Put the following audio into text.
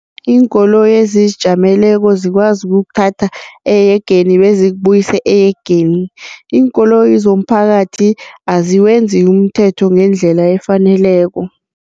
Iinkoloyi ezizijameleko zikwazi ukukuthatha ehegeni bezikubuyise ehegeni, iinkoloyi zomphakathi aziwenzi umthetho ngendlela efaneleko.